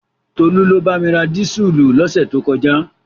Tolú ló bá mi ra dísùlù lọ́sẹ̀ tó kọjá.